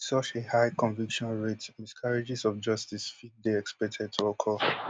wit such a high conviction rate miscarriages of justice fit dey expected to occur